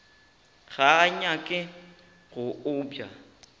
ga a nyake go obja